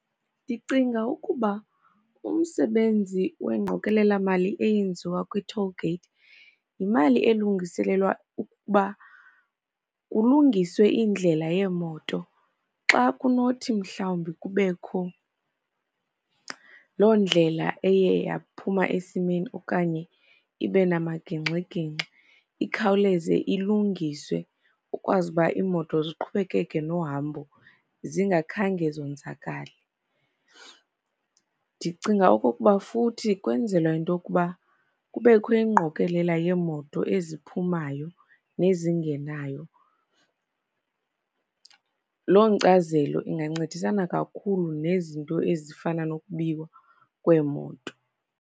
Ndicinga ukuba umsebenzi wengqokelela mali eyenziwa kwi-toll gate yimali elungiselelwa ukuba kulungiswe iindlela yeemoto. Xa kunothi mhlawumbi kubekho loo ndlela eye yaphuma esimeni okanye ibe namagingxigingxi, ikhawuleze ilungiswe kukwazi ba iimoto ziqhubekeke nohambo zingakhange zonzakale. Ndicinga okokuba futhi kwenzelwa into yokuba kubekho ingqokelela yeemoto eziphumayo nezingenayo. Loo nkcazelo ingancedisana kakhulu nezinto ezifana nokubiwa kweemoto.